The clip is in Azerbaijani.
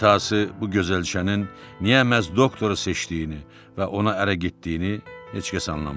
İntahası bu gözəlçənin niyə məhz doktoru seçdiyini və ona ərə getdiyini heç kəs anlamırdı.